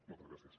moltes gràcies